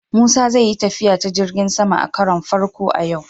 Musa zai yi tafiya ta jirgin sama a karon farko a yau.